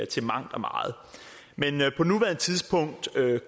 til mangt og meget men på nuværende tidspunkt